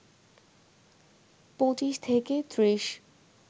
২৫ থেকে ৩০